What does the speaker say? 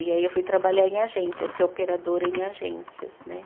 E aí eu fui trabalhar em agência, ser operadora em agências, né?